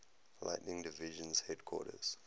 lighting division headquarters